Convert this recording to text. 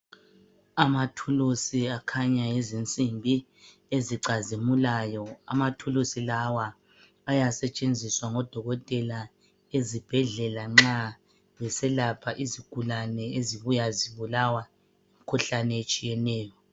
Amathulusi akhanya ngezinsimbi ezicazimulayo. Amathulusi lawa ayasetshenziswa ngodokotela ezibhedlela nxa beselapha izigulane ezibuya zibulawa yimikhuhlane etshiyeneyo.